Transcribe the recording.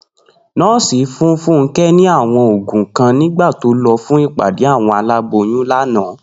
Nó̩ò̩sì fún Fúnké̩ ní àwo̩n ògùn kan nígbà tó lo̩ fún ìpàdé àwo̩n aláboyún lánàá